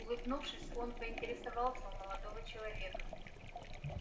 улыбнувшись он поинтересовался у молодого человека